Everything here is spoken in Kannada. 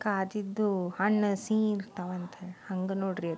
ಕಾದಿದ್ದು ಹಣ್ಣು ಸೀ ಇರ್ತಾವಂತ ಹಂಗೆ ನೋಡ್ರಿ ಇದು.